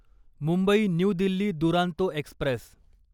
Mumbai New Delhi Duronto Express